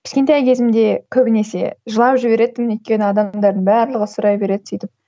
кішкентай кезімде көбінесе жылап жіберетінмін өйткені адамдардың барлығы сұрай береді сөйтіп